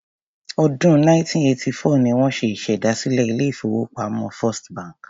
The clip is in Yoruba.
Ọdún 1894 ni wọ́n ṣèdásílẹl ilé-ìfowópamọ́ First bank.